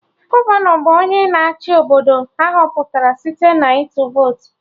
Gọvanọ bụ onye na-achị Obodo, ahọpụtara site na ịtụ votu